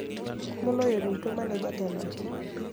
Moloyo duto ma ne jatelo no